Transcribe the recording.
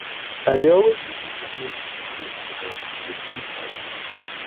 i dey always lis ten to music for road bikos e dey boost my mood